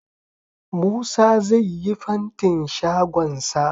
Musa zai yi fantin shagon sa